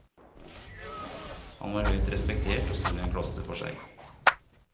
Han var høyt respektert og sto i en klasse for seg.